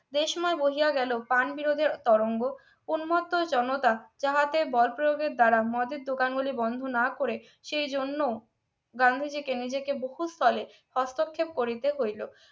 দেশময় বহিয়া গেল কান বিরোধী তরঙ্গ উন্মত্ত জনতা যাহাতে বল প্রয়োগের দ্বারা মদের দোকান গুলি বন্ধ না করে সেই জন্য গান্ধীজিকে নিজেকে বহুস্তলে হস্তক্ষেপ করিতে হইল